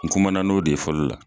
N kumana n'o de ye fɔlɔ la